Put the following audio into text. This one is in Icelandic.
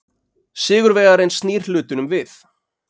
Sigurvegarinn snýr hlutunum við.